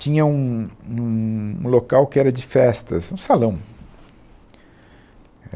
Tinha um, um, um local que era de festas, um salão.